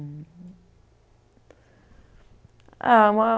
a uma